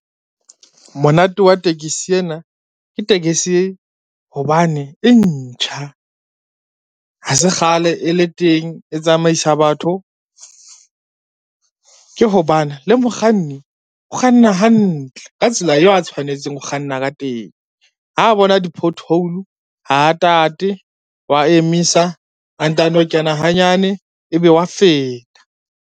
Monate wa tekesi ena, ke tekesi hobane e ntjha ha se kgale e le teng e tsamaisa batho, ke hobane le mokganni o kganna hantle ka tsela eo a tshwanetseng ho kganna ka teng. Ha bona di-pothole ha tate, wa emisa a ntano kena hanyane ebe wa feta.